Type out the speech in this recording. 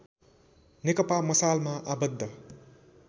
नेकपा मसालमा आबद्ध